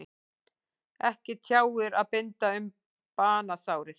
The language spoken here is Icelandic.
Ekki tjáir að binda um banasárið.